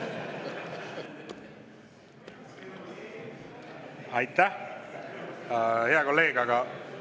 Aitäh, hea kolleeg!